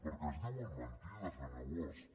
perquè es diuen mentides senyor bosch